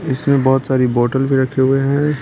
इसमें बहुत सारी बोतल भी रखे हुए हैं।